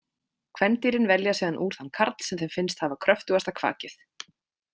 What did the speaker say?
Kvendýrin velja síðan úr þann karl sem þeim finnst hafa kröftugasta kvakið.